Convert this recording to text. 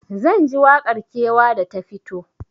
Zanji waƙar kewa da ta fito